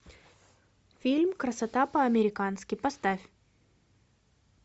фильм красота по американски поставь